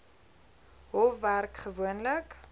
hof werk gewoonlik